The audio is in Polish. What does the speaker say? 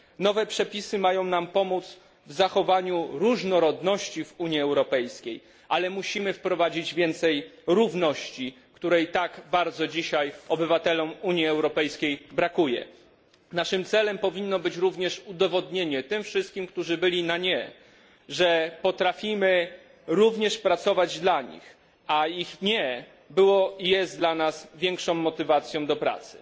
Nowe przepisy mają nam pomóc w zachowaniu różnorodności w Unii Europejskiej, ale musimy wprowadzić więcej równości, której dzisiaj tak bardzo brakuje obywatelom Unii Europejskiej. Naszym celem powinno być również udowodnienie tym wszystkim, którzy byli na nie, że potrafimy pracować również dla nich, a ich nie było i jest dla nas większą motywacją do pracy.